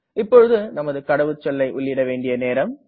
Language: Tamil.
இப்போது நமது கடவுச்சொல்லை உள்ளிட வேண்டிய நேரம்